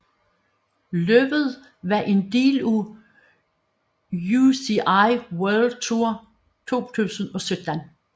Løbet var en del af UCI World Tour 2017